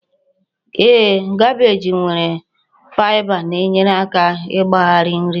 Ee, kabeeji nwere faịba na-enyere aka ịgbari nri